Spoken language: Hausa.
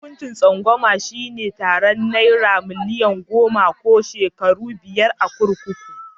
Hukuncin zamba shi ne tarar nera milian goma ko shekaru biyar a kurkuku.